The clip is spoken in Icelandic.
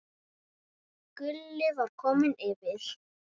Gulli var kominn yfir.